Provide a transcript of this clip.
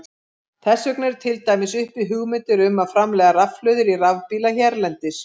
Þess vegna eru til dæmis uppi hugmyndir um að framleiða rafhlöður í rafbíla hérlendis.